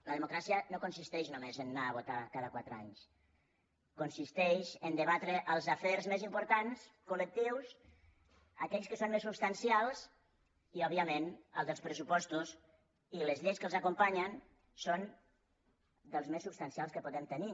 la democràcia no consisteix només a anar a votar cada quatre anys consisteix a debatre els afers més importants col·lectius aquells que són més substancials i òbviament el dels pressupostos i les lleis que els acompanyen són dels més substancials que podem tenir